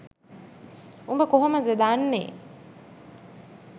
උඹ කොහොමද දන්නේ?